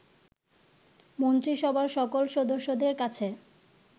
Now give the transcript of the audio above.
মন্ত্রীসভার সকল সদস্যদের কাছে